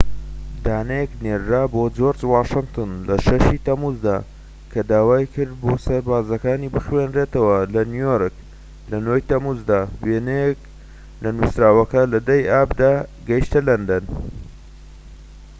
دانەیەک نێردرا بۆ جۆرج واشنتن لە ٦ ی تەمووزدا کە داوای کرد بۆ سەربازەکانی بخوێنرێتەوە لە نیویۆرک لە ٩ ی تەمموزدا. وێنەیەك لە نوسراوەکە لە ١٠ ی ئابدا گەشتە لەندەن